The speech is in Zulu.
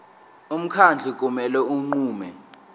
umkhandlu kumele unqume